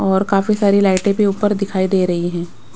और काफी सारी लाइटें भी ऊपर दिखाई दे रही हैं।